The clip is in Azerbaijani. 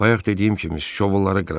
Bayaq dediyim kimi şovulları qıracam.